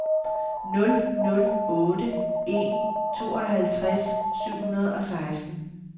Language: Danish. nul nul otte en tooghalvtreds syv hundrede og seksten